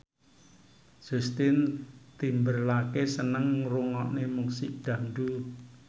Justin Timberlake seneng ngrungokne musik dangdut